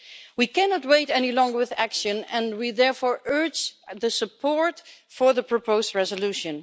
We cannot wait any longer with action and we therefore urge the support for the proposed resolution.